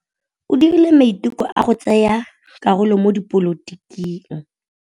O dirile maitekô a go tsaya karolo mo dipolotiking.